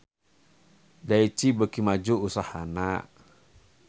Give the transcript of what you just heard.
Daichi beuki maju usahana